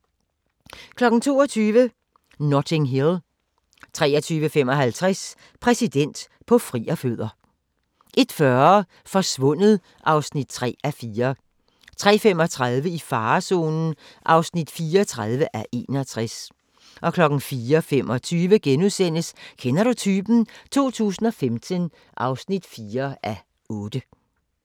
22:00: Notting Hill 23:55: Præsident på frierfødder 01:40: Forsvundet (3:4) 03:35: I farezonen (34:61) 04:25: Kender du typen? 2015 (4:8)*